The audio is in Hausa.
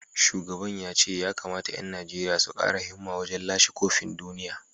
Shugaban ya ce ya kamata ‘yan Najeriya su kara himma wajen lashe kofin duniya